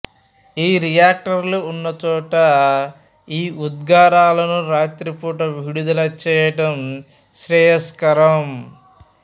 ఈ రియాక్టర్లు ఉన్నచోట ఈ ఉద్గారాలను రాత్రి పూట విడుదల చేయడం శ్రేయస్కరం